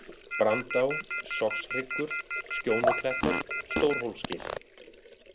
Brandá, Sogshryggur, Skjónuklettar, Stórhólsgil